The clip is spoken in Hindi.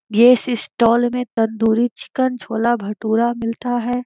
इस स्टाल में तंदूरी चिकेन छोला भटूरा मिलता है।